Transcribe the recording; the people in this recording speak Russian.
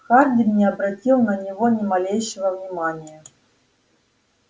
хардин не обратил на него ни малейшего внимания